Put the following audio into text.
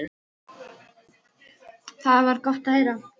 Það var gott að heyra.